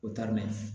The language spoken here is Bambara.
O taa mɛn